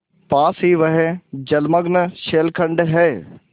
पास ही वह जलमग्न शैलखंड है